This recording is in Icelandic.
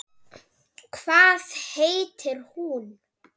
Hvað heitir hún?